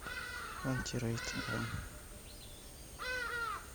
антирейд дом